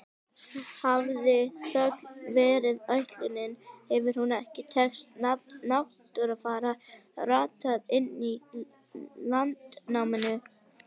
Hafi þöggun verið ætlunin hefur hún ekki tekist, nafn Náttfara rataði inn í Landnámu.